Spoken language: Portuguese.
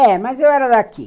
É, mas eu era daqui.